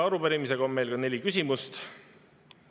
Arupärimises on meil ka neli küsimust.